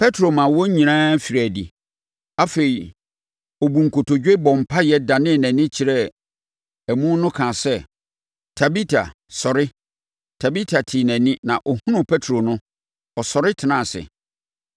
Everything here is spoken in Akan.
Petro maa wɔn nyinaa firii adi. Afei, ɔbuu nkotodwe, bɔɔ mpaeɛ danee nʼani kyerɛɛ amu no kaa sɛ, “Tabita, sɔre!” Tabita tee nʼani na ɔhunuu Petro no, ɔsɔre tenaa ase.